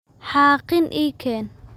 xaaqin ii keen